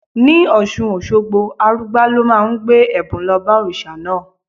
Ní Ọ̀ṣun Òṣogbo, Arugbá ló máa ń gbé ẹ̀bùn lọ bá òrìṣà náà.